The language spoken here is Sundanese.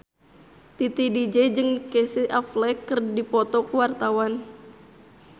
Titi DJ jeung Casey Affleck keur dipoto ku wartawan